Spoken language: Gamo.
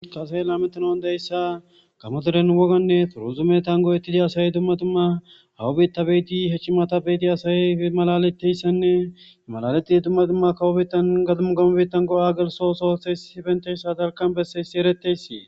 kase lametonon deyssa gamoderen woganne furuzume tan go7ettidi asay dumma tumma hawubetta beeti hechchimata beeti asay malaleteyssanne imalaletidi dumma dumma kawobettan gadumu gamobetan go'a gelsosotheys sifenteyssa dalqan besseyssi ereteyssi.